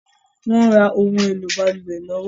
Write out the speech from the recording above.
Wọ̀n ń rà ohun èlò balùwẹ̀ lọ́wọ́